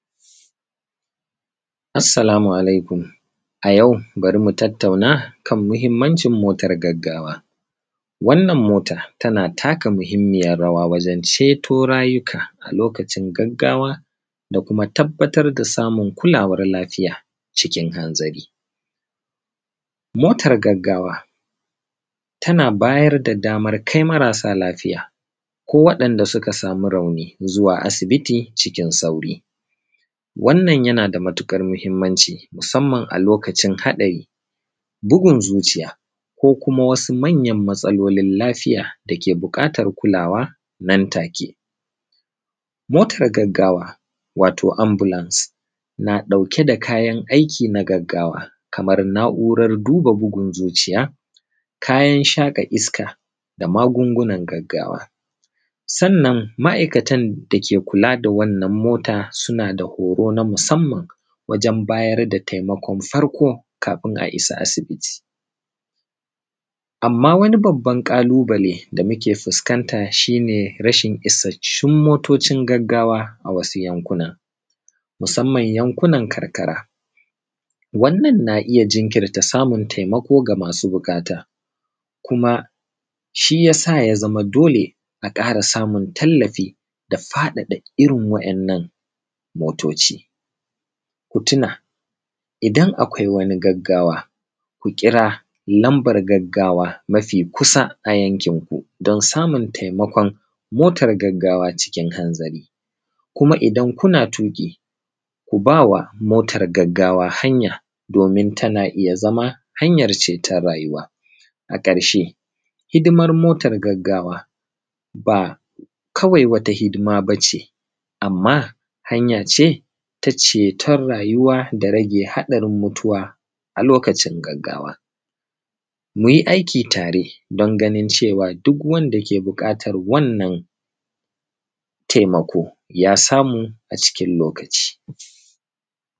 Assalamu Alaikum. A yau, bari mu tattauna kan muhimmancin motar gaggawa. Wannan motar tana taka muhimmiyar rawa wajen ceto rayuka a lokacin gaggawa da kuma tabbatar da samun kulawar lafiya, cikin hanzari. Motar gaggawa tana bayar da damar kai marasa lafiya ko waɓanda suka sami rauni zuwa asibiti cikin sauri. Wannan yana da matuƙar muhimmanci musamman a lokacin haɗari; bugun zuciya, ko kuma wasu manyan matsalolin lafiya da ke buƙatar kulawa nan take. Motar gaggawa, watau ambulance, na ɗauke da kayan aiki na gaggawa kamar na'urar duba bugun zuciya; kayan shaƙa iska da magungunan gaggawa. Sannan ma'aikatan da ke kula da wannan mota, suna da horo na musamman wajen bayar da taimakon farko kafin a isa asibiti. Amma wani babban ƙalubale, da muke fuskanta shi ne, rashin isassun motocin gaggawa a wasu yankunan, musamman a yankunan karkara. Wannan na iya jirkinta samun taimako ga masu buƙata, kuma shi ya sa ya zama dole, a ƙara samun tallafi da faɗaɗa irin wa'yannan motoci. Ku tuna, idan akwai wani gaggawa, ku kira lambar gaggawa mafi kusa a yankinku don samun taimakon motar gaggawa cikin hanzari. Kuma idan kuna tuƙi, ku ba wa motar gaggawa hanya domin tana iya zama hanyar ceton rayuwa. A ƙarshe, hidimar motar gaggawa, ba kawai wata hidima ba ce, amma hanya ce ta ceton rayuwa da rage haɗarin mutuwa a lokacin gaggawa. Mu yi aiki tare don ganin cewa duk wanda ke buƙatar wannan taimako ya samu a cikin lokaci.